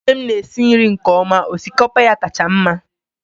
nwunye m na-esi nri nke ọma.. osikapa ya kacha mma